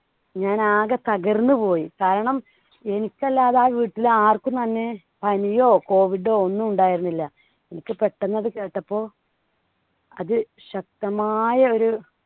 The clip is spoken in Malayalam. ഞാൻ ആകെ തകർന്നുപോയി. കാരണം എനിക്കല്ലാതെ ആ വീട്ടിൽ ആർക്കും തന്നെ പനിയോ COVID ഒന്നും ഉണ്ടായിരുന്നില്ല. എനിക്ക് പെട്ടെന്നത് കേട്ടപ്പോ അത് ശക്തമായ ഒരു